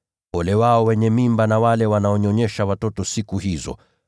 Ole wao wenye mimba na wale wanaonyonyesha watoto siku hizo!